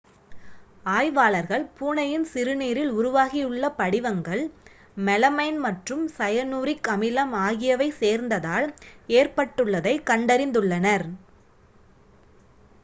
ஆய்வாளர்கள் பூனையின் சிறுநீரில் உருவாகியுள்ள படிவங்கள் மெலமைன் மற்றும் சயனூரிக் அமிலம் ஆகியவை சேர்ந்ததால் ஏற்பட்டுள்ளதை கண்டறிந்துள்ளனர்